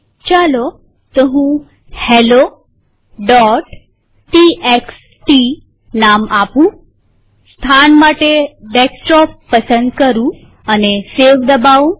ચાલો તો હું હેલોટીએક્સટી નામ આપુંસ્થાન માટે ડેસ્કટોપ પસંદ કરું અને સેવ બટન દબાઉ